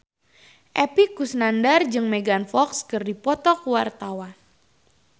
Epy Kusnandar jeung Megan Fox keur dipoto ku wartawan